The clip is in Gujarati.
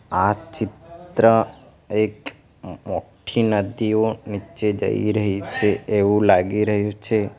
આ ચિત્ર એક મો-મોઠી નદીઓ નીચે જઈ રહી છે એવું લાગી રહ્યું છે.